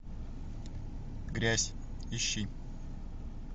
грязь ищи